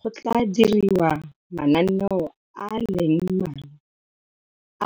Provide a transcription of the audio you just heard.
Go tla diriwa mananeo a le mmalwa